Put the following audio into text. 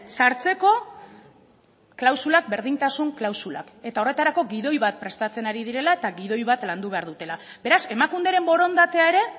sartzeko klausulak berdintasun klausulak eta horretarako gidoi bat prestatzen ari direla eta gidoi bat landu behar dutela beraz emakunderen borondatea ere